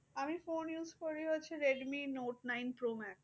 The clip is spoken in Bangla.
আমি phone use করি হচ্ছে redmi note nine pro max